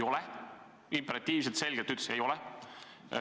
Ta imperatiivselt, selgelt ütles: ei ole.